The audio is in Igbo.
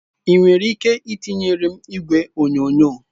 Ị nwere ike itinyere m igwe onyonyo?